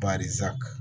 Bari